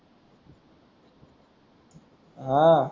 आह